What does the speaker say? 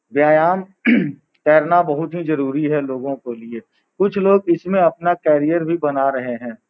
व्यायाम करना बहुत ही जरुरी है लोगों के लिए कुछ लोग इसमें अपना करियर भी बना रहे हैं।